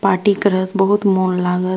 Party करत बहुत मौन लागत।